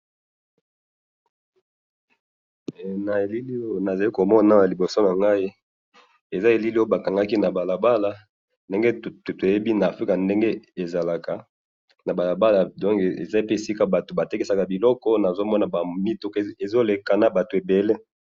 Na moni ba mituka ebele na batu bazoleka na balabala.